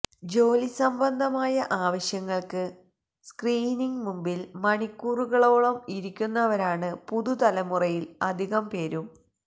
ജോലിസംബന്ധമായ ആവശ്യങ്ങള്ക്ക് സ്ക്രീനിന് മുമ്പില് മണിക്കൂറുകളോളം ഇരിക്കുന്നവരാണ് പുതുതലമുറയില് അധികം പേരും